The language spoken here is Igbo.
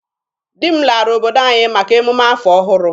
Di m lara obodo anyị maka emume afọ ọhụrụ.